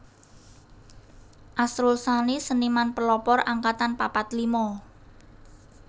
Asrul Sani Seniman Pelopor Angkatan papat lima